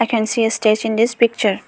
I can see a stage in this picture.